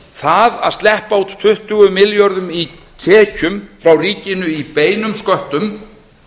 það að sleppa út tuttugu milljörðum í tekjum frá ríkinu í beinum sköttum